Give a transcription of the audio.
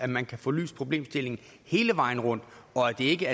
man kan få belyst problemstillingen hele vejen rundt og at det ikke